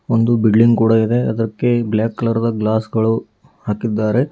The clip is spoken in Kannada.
ಒಂದು ಬಿಲ್ಡಿಂಗ್ ಕೂಡ ಇದೆ ಅದಕ್ಕೆ ಬ್ಲ್ಯಾಕ್ ಕಲರ್ ದ ಗ್ಲಾಸ್ ಗಳು ಹಾಕಿದ್ದಾರೆ.